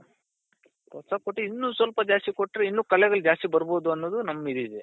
ಪ್ರೋತ್ಸಾಹ ಕೊಟ್ಟಿದೆ ಇನ್ನು ಸ್ವಲ್ಪ ಜಾಸ್ತಿ ಕೊಟ್ರೆ ಇನ್ನು ಕಲೆಗಳು ಜಾಸ್ತಿ ಬರ್ಬೋದು ಅನ್ನೋದು ನಮ್ ಇದಿದೆ